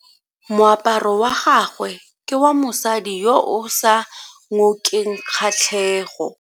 Moaparo wa gagwe ke wa mosadi yo o sa ngokeng kgatlhego.